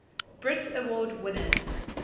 brit award winners